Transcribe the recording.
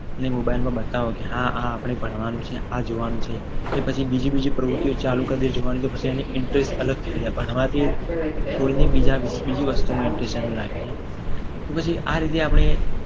જે mobile માં બતાવો. કે હા હા આપણે ભણવાનું છે. આ જોવાનું છે. કે પછી એ બીજી બીજી પ્રવૃત્તિ ચાલુ કરી દે. ભણવા સિવાયની તો એનો interest અલગ થઈ જાય. ભણવાથી છોડીને બીજા બીજા વિષયમાં બીજી વસ્તુમાં interest લાગી જાય. તો પછી આ રીતે આપણે